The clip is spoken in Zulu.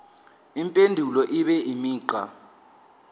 impendulo ibe imigqa